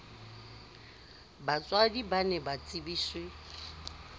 batswadi ba ne ba tsebiswe